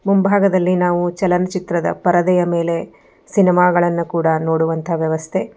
ಮುಂಭಾಗದಲ್ಲಿ ನಾವು ಚಲನಚಿತ್ರದ ಪರದೆಯ ಮೇಲೆ ಸಿನಿಮಾಗಳನ್ನ ಕೂಡ ನೋಡುವಂತ ವ್ಯವಸ್ಥೆ.